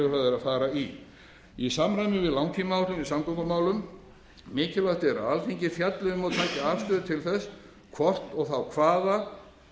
fara í í samræmi við langtímaáætlun í samgöngumálum mikilvægt er að alþingi fjalli um og taki afstöðu til þess hvort og þá hvaða